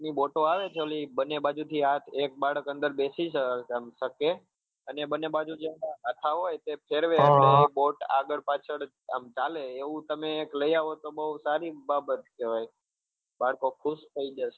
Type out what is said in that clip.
boat આવે છે ઓલી બને બાજુ થી આગ એક બાળક અંદર બેસી આમ શકે અને બને બાજુ જે ઓલા હાથા હોય તેમ ફેરવે એટલે boat આમ આગળ પાછળ આમ ચાલે એવું તમે એક લઈ આવો તો બહું સારી બાબત કહેવાય બાળકો ખુશ થઈ જશે